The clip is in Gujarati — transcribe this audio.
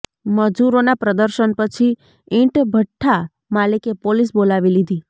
મજૂરોના પ્રદર્શન પછી ઈંટ ભઠ્ઠા માલિકે પોલીસ બોલાવી લીધી